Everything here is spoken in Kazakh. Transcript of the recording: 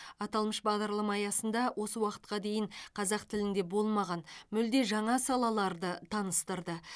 аталмыш бағдарлама аясында осы уақытқа дейін қазақ тілінде болмаған мүлде жаңа салаларды таныстырды